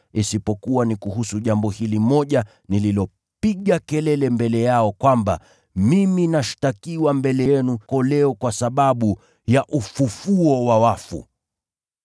isipokuwa ni kuhusu jambo hili moja nililopiga kelele mbele yao kwamba, ‘Mimi nashtakiwa mbele yenu leo kwa sababu ya ufufuo wa wafu.’ ”